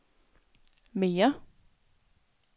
mere